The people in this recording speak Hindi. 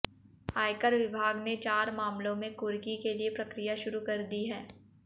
आयकर विभाग ने चार मामलों में कुर्की के लिए प्रक्रिया शुरू कर दी है